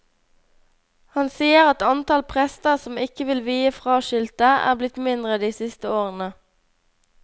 Han sier at antall prester som ikke vil vie fraskilte, er blitt mindre de siste årene.